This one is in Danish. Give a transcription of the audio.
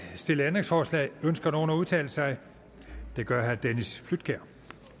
stillet ændringsforslag ønsker nogen at udtale sig det gør herre dennis flydtkjær